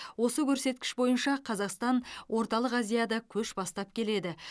осы көрсеткіш бойынша қазақстан орталық азияда көш бастап келеді